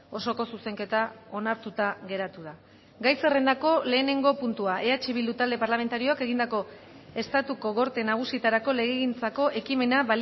osoko zuzenketa onartuta geratu da gai zerrendako lehenengo puntua eh bildu talde parlamentarioak egindako estatuko gorte nagusietarako legegintzako ekimena